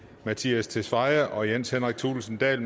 mattias tesfaye og jens henrik thulesen dahl